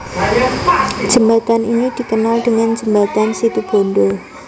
Jembatan ini dikenal dengan Jembatan Situbondo